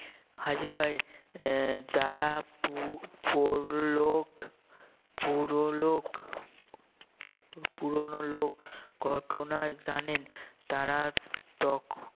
হাজির হয় আহ যারা পু~ পৌরলোক পুরলোক পুরনো লোক ঘটনা জানেন তারা তখন